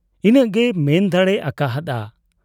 ᱤᱱᱟᱹᱜ ᱜᱮᱭ ᱢᱮᱱ ᱫᱟᱲᱮ ᱟᱠᱟ ᱦᱟᱫ ᱟ ᱾